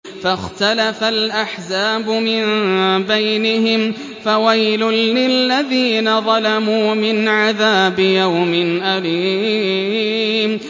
فَاخْتَلَفَ الْأَحْزَابُ مِن بَيْنِهِمْ ۖ فَوَيْلٌ لِّلَّذِينَ ظَلَمُوا مِنْ عَذَابِ يَوْمٍ أَلِيمٍ